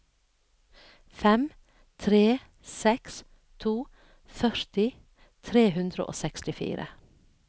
fem tre seks to førti tre hundre og sekstifire